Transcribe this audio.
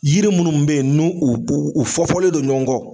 Yiri munnu be ye n'u u uu u fɔfɔlen don ɲɔgɔn kɔ